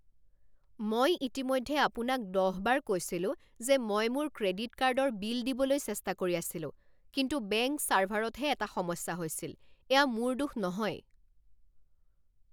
মই ইতিমধ্যে আপোনাক দহবাৰ কৈছিলোঁ যে মই মোৰ ক্ৰেডিট কাৰ্ডৰ বিল দিবলৈ চেষ্টা কৰি আছিলোঁ কিন্তু বেংক ছাৰ্ভাৰতহে এটা সমস্যা হৈছিল। এয়া মোৰ দোষ নহয়!